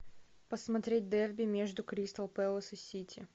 посмотреть дерби между кристал пэлас и сити